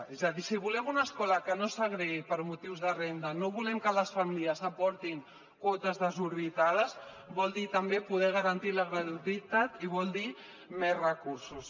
és a dir si volem una escola que no segregui per motius de renda no volem que les famílies aportin quotes desorbitades vol dir també poder garantir la gratuïtat i vol dir més recursos